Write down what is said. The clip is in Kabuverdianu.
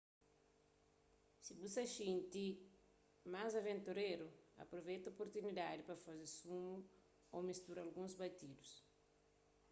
si bu sa ta xinti más aventuréru apruveita oportunidadi pa faze sumu ô mistura alguns batidus